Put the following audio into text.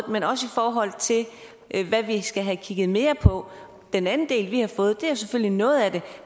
men også i forhold til hvad vi skal have kigget mere på den anden del vi har fået er selvfølgelig noget af det